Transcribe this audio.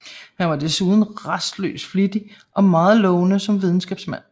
Han var desuden rastløs flittig og meget lovende som videnskabsmand